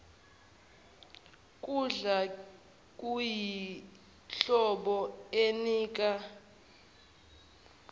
kudla kuyinhlobo enika